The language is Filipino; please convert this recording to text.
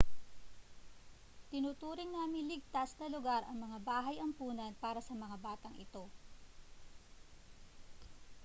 tinuturing naming ligtas na lugar ang mga bahay ampunan para sa mga batang ito